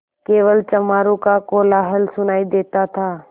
केवल चमारों का कोलाहल सुनायी देता था